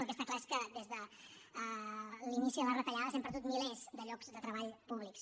el que està clar és que des de l’inici de les retallades hem perdut milers de llocs de treball públics